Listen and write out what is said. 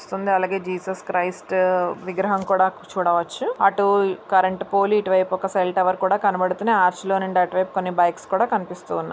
అలాగే జీసస్ క్రీస్తు విగ్రహం కూడా చూడవచ్చు అటు ఒక కరెంటు పోలు ఇటు ఓక సెల్ టవర్ కూడా కనబడుతున్నాయి హార్చి లో నుంచి అటు వైపు కొన్ని బైక్స్ కూడా కనిపిస్తున్నాయి.